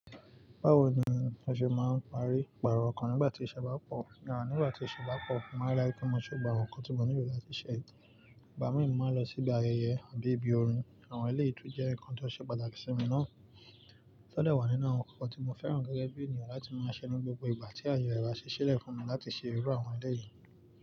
Báwo ni o ṣe máa ń parí ìpààrọ̀ kan nígbà tí ìṣẹ́ bá pọ̀? Nígbà tí ìṣẹ́ bá pọ̀, mo máa láì kí mo ṣe gbogbo àwon nkan tí mo nílò láti ṣe. Ìgbá mi mo máa ń lọ síbi ayẹyẹ àbí ibi orin. Àwọn eléyìí tun jẹ́ nǹkan tó ṣe pàtàkì sí mi ná. Tọ́dẹ̀ wà nínú àwọn ǹkan tí mo fẹ́ràn gẹ́gẹ́ bí ènìyàn láti máa ṣẹ ni gbogbo ìgbà tí àyè rẹ̀ bá ṣí ṣilẹ̀ fún mi láti ṣe irú àwọn eléyìí.